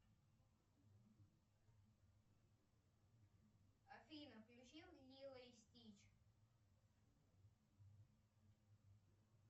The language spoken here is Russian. афина включи лило и стич